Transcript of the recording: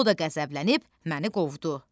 O da qəzəblənib məni qovdu.